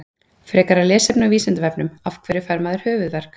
Frekara lesefni á Vísindavefnum: Af hverju fær maður höfuðverk?